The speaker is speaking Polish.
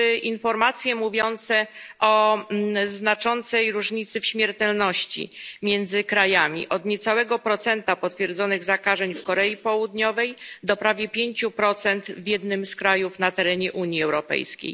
również informacje mówiące o znaczącej różnicy w śmiertelności między krajami, od niecałego procenta potwierdzonych zakażeń w Korei Południowej do prawie 5 w jednym z krajów na terenie Unii Europejskiej.